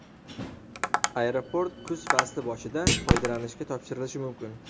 aeroport kuz fasli boshida foydalanishga topshirilishi mumkin.